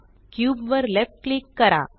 cube वर left click करा